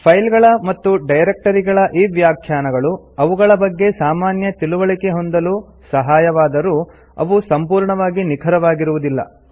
file ಗಳ ಮತ್ತು ಡೈರೆಕ್ಟರಿಗಳ ಈ ವ್ಯಾಖ್ಯಾನಗಳು ಅವುಗಳ ಬಗ್ಗೆ ಸಾಮಾನ್ಯ ತಿಳುವಳಿಕೆ ಹೊಂದಲು ಸಹಾಯವಾದರೂ ಅವು ಸಂಪೂರ್ಣವಾಗಿ ನಿಖರವಾಗುವುದಿಲ್ಲ